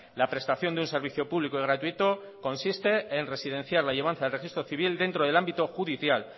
la prestación de un servicio público y gratuito consiste en residenciar la llevanza del registro civil dentro del ámbito judicial